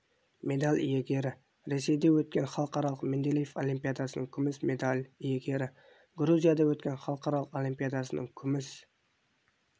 медаль иегері ресейде өткен халықаралық менделеев олимпиадасының күміс медаль иегері грузияда өткен халықаралық олимпиадасының күміс